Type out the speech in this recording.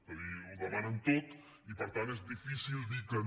és a dir ho demanen tot i per tant és difícil dir que no